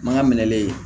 Mana minɛlen